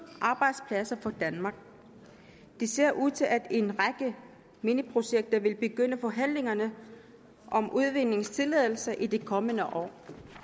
arbejdspladser i danmark det ser ud til at en række mineprojekter vil begynde forhandlingerne om udvindingstilladelser i det kommende år